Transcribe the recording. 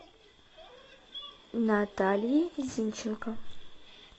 натальи зинченко